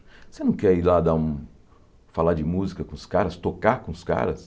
Você não quer ir lá dar um falar de música com os caras, tocar com os caras?